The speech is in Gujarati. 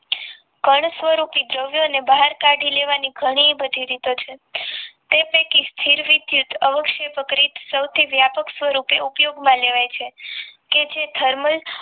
કણ સ્વરૂપી દ્રવ્યોને બહાર કાઢી લેવાની ઘણી બધી રીતો છે તે પૈકી સ્થિર વિદ્યુત અવક્ષેપ પ્રક્રિક સૌથી વ્યાપક સ્વરૂપે ઉપયોગમાં લેવાય છે કે જે thermal